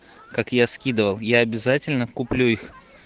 как я скидывал я обязательно куплю их